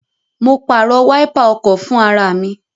Mo pàrọ̀ wáípà ọkọ̀ fún ara mi